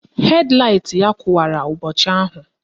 Hed laịt ya kụwara ụbọchị ahụ